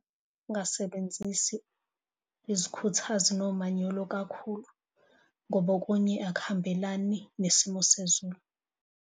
Ungasebenzisi izikhuthazi nomanyolo kakhulu, ngoba okunye akuhambelani nesimo sezulu.